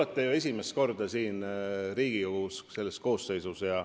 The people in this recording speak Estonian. Eks te olete esimest korda siin Riigikogus, selle koosseisus.